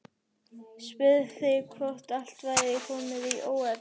Spurði svo hvort allt væri komið í óefni.